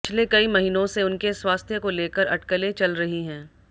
पिछले कई महीनों से उनके स्वास्थ्य को लेकर अटकलें चल रही हैं